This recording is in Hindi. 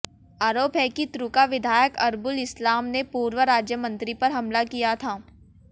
आरोप है कि तृकां विधायक अरबुल इस्लाम ने पूर्व राज्यमंत्री पर हमला किया था